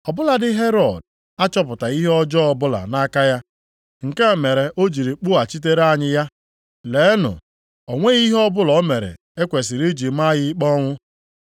Ọ bụladị Herọd achọpụtaghị ihe ọjọọ ọbụla nʼaka ya, nke a mere o jiri kpụghachitere anyị ya. Leenụ, o nweghị ihe ọbụla o mere e kwesiri iji maa ya ikpe ọnwụ.